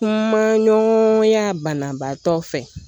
Kuma ɲɔgɔnya banabaatɔ fɛ